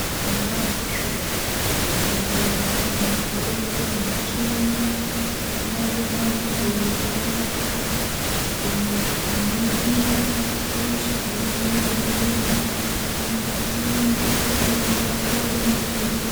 Nazvo zvibhedhleramwo mitombo michini yechimanje manje inoshandiswa kuvheneka kuningira hosha dziri mumwiiri mwedumwo hino ngatiende toonekwa tooningirwa.